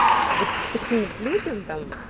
вот вот таким вот людям там